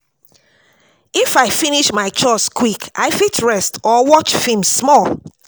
If I finish my chores quick, I fit rest or watch film small.